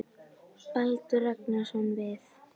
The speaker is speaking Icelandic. Baldur Ragnarsson: Við?